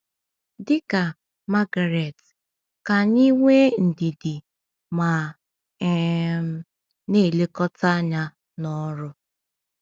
Dị ka Margaret, ka anyị nwee ndidi ma um na-elekọta anya n’ọrụ.